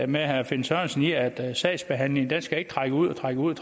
med herre finn sørensen i at sagsbehandlingen ikke skal trække ud og trække ud